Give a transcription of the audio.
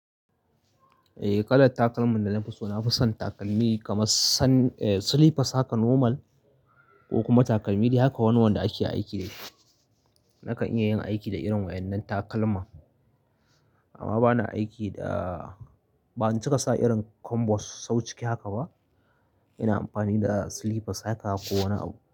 Eh, ƙalar takalman da na fi so, na fi son takalmi kamar san, eh slippers hakan normal ko kuma takalmi dai haka wani wanda ake aiki da shi. Nakan iya yin aiki da irin wa'innan takalma. Amma bana aiki da, ban cika sa irin kombos sau ciki haka ba. Ina amfani da slippers haka ko wani abu.